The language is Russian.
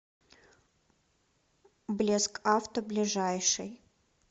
блескавто ближайший